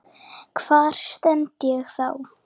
Hvar stend ég þá?